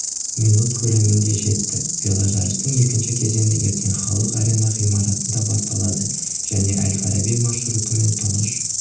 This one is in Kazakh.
минут көлемінде жетті веложарыстың екінші кезеңі ертең халық арена ғимаратында басталады және әл-фараби маршрутымен тұңғыш